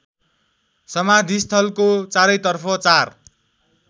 समाधिस्थलको चारैतर्फ चार